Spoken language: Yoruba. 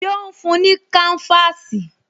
Ṣé ó ń fún-un ní káńfáàsì?